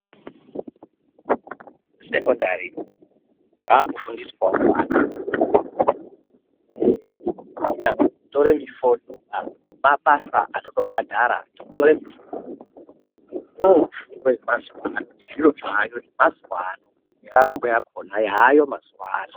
Sekondari kwaakufundiswawo ana kunyazi kutore mufodho, awo mabasa anotobhadhara, kutore mifodho ndiyo mishando yemazuva ano nezviro zvaayo mazuva ano neraramo yakona yaayo mazuva ano.